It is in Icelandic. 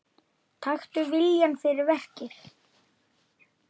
Taktu viljann fyrir verkið.